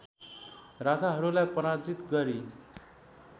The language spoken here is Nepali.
राजाहरूलाई पराजित गरी